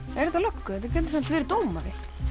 er þetta löggu þetta getur samt verið dómari